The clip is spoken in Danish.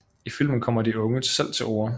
I filmen kommer de unge selv til orde